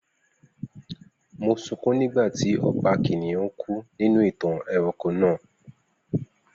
Mo sunkún nígbà tí Ọba kìnnìún kú nínú ìtàn ẹranko náà